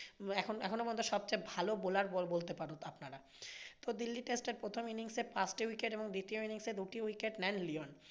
এখন এখনও পর্যন্ত সবচেয়ে ভালো bowler বলতে পারেন আপনারা। তো দিল্লী টেস্টার প্রথম innings এ পাঁচটা wicket এবং দ্বিতীয় innings এ দুটি wicket নেন লিওন।